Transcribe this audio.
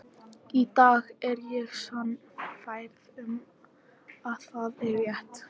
Í dag er ég sannfærð um að það er rétt.